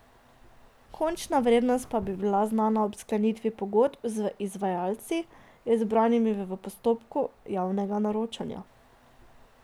Končna vrednost pa da bi bila znana ob sklenitvi pogodb z izvajalci, izbranimi v postopku javnega naročanja.